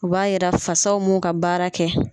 O b'a yira fasaw m'u ka baara kɛ.